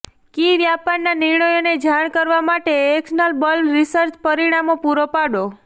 કી વ્યાપારના નિર્ણયોને જાણ કરવા માટે એક્શનબલ રીસર્ચ પરિણામો પૂરો પાડો